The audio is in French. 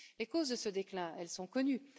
Les causes de ce déclin, elles sont connues.